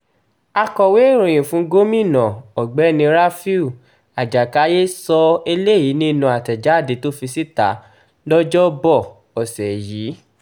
akọ̀wé ìròyìn fún gómìnà ọ̀gbẹ́ni rafiu ajákáyé sọ eléyìí nínú àtẹ̀jáde tó fi síta lọ́jọ́bọ́tòsọdọ̀ọ́ ọ̀sẹ̀ yìí